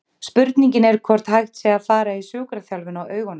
Spurningin er hvort hægt sé að fara í sjúkraþjálfun á augunum?